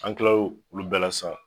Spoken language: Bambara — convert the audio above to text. An tilal'o olu bɛɛ sisan